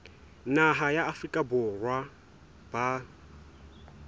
naha ya afrika borwa ba